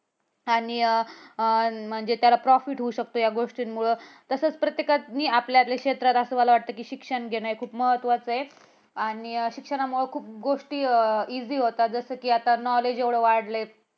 आणि अं म्हणजे त्याला profit होऊ शकत. या गोष्टींमुळं तसंच प्रत्येकानी आपल्या आपल्या क्षेत्रात असं मला वाटत कि शिक्षण घेणे खूप महत्वाचं आहे, आणि शिक्षणामुळं खूप गोष्टी easy होतात जसं कि knowledge एवढं वाढलंय.